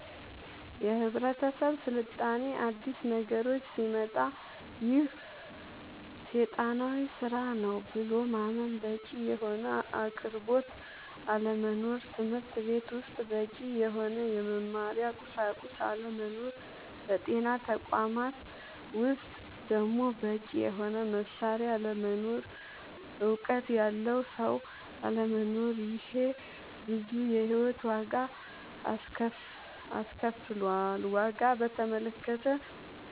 የህብረተሰብ ስልጣኔ አዲስ ነገሮች ሲመጣ ይሄ ሴጣናዊ ስራ ነው ብሎ ማመን በቂ የሆነ አቅርቦት አለመኖር ትምህርትቤት ውስጥ በቂ የሆነ የመማሪያ ቁሳቁስ አለመኖር በጤና ተቋማት ውስጥ ደሞ በቂ የሆነ መሳሪያ አለመኖር እውቀት ያለው ሰው አለመኖር ይሄ ብዙ የሂወት ዋጋ አስከፍሎል ዋጋ በተመለከተ